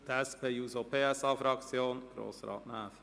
Für die SP-JUSO-PSA-Fraktion spricht Grossrat Näf.